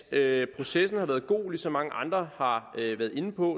at processen har været god og som mange andre har været inde på